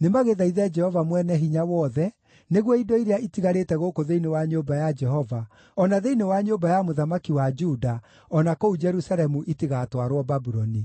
nĩmagĩthaithe Jehova Mwene-Hinya-Wothe nĩguo indo iria itigarĩte gũkũ thĩinĩ wa nyũmba ya Jehova, o na thĩinĩ wa nyũmba ya mũthamaki wa Juda, o na kũu Jerusalemu itigatwarwo Babuloni.